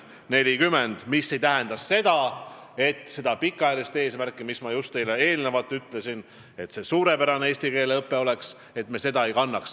See ei tähenda seda, nagu me ei peaks silmas pikaajalist eesmärki, mida ma just teile eelnevalt ütlesin, suurepärast eesti keele õpet.